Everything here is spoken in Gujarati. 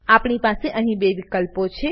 આપણી પાસે અહીં બે વિકલ્પો છે